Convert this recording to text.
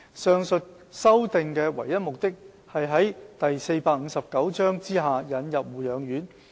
上述修訂的唯一目的是在第459章下引入護養院。